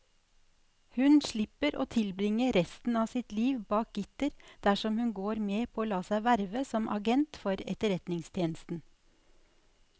Hun slipper å tilbringe resten av sitt liv bak gitter dersom hun går med på å la seg verve som agent for etterretningstjenesten.